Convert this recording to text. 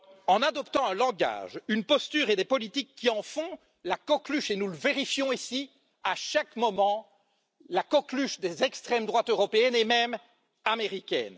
En adoptant un langage, une posture et des politiques qui en font la coqueluche et nous le vérifions ici à chaque moment des extrêmes droites européennes et même américaine.